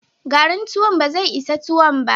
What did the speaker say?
Garin tuwon ba zai isa tuwon ba.